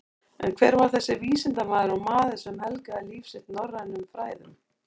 En hver var þessi vísindamaður og maður sem helgaði líf sitt norrænum fræðum?